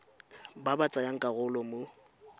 ba ba tsayang karolo mo